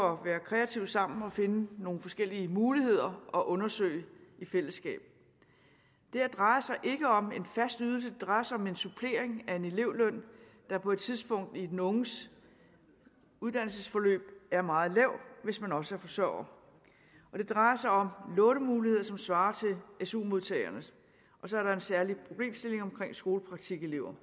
at være kreative sammen og finde nogle forskellige muligheder at undersøge i fællesskab det her drejer sig ikke om en fast ydelse det drejer sig om en supplering af en elevløn der på et tidspunkt i den unges uddannelsesforløb er meget lav hvis man også er forsørger det drejer sig om lånemuligheder som svarer til su modtagernes og så er der en særlig problemstilling omkring skolepraktikelever